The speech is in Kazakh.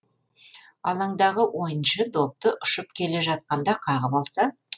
алаңдағы ойыншы допты ұшып келе жатқанда қағып алса